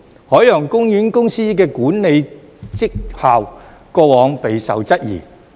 海洋公園公司的管理績效過往備受質疑。